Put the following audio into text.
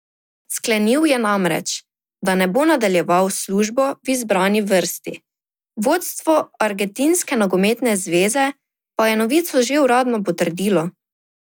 Sklenil je namreč, da ne bo nadaljeval s službo v izbrani vrsti, vodstvo Argentinske nogometne zveze pa je novico že uradno potrdilo.